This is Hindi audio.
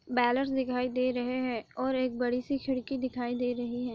बॅलर्स दिखाई दे रहे है और एक बडीसी खिड़की दिखाई दे रही है।